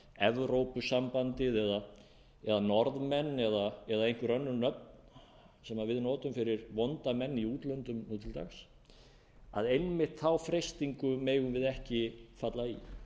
evrópusambandið eða norðmenn eða einhver önnur nöfn sem við notum fyrir vonda menn í útlöndum nú til dags einmitt þá freistingu megum við ekki falla í